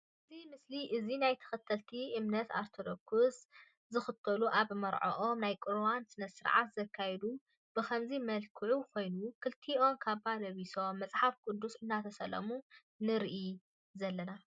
እዚ ምስሊ እዙይ ናይ ተከተልቲ እምነት ኦርቶዶክዝ ዝክተሉ ኣብ መርዕዖም ናይ ቁርባን ስነ ስርዓት ዘካይዱ ብከምዚ መልክዑ ኮይኑ ክልቲኦም ካባ ለቢሶም መፅሓፍ ቅዱስ እናተሳለሙ ኢና ንርኢ ዘለና።